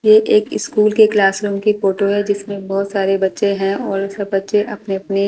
ये एक स्कूल के क्लासरूम की फोटो है जिसमें बहुत सारे बच्चे हैं और सब बच्चे अपनी-अपने--